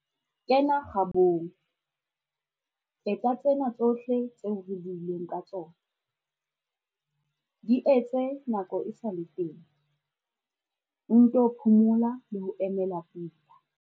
Kena kgabong, etsa tsena tsohle tseo re buileng ka tsona. Di etse nako e sa le teng, o nto phomola le ho emela pula.